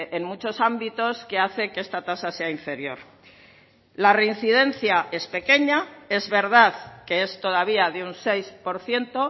en muchos ámbitos que hace que esta tasa sea inferior la reincidencia es pequeña es verdad que es todavía de un seis por ciento